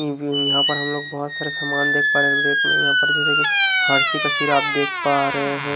यहाँ पर हम लोग बहुत सारे सामान देख पा रहे हैं रैक में यहाँ पर जैसे कि हरशी का सिराप देख पा रहे हैं।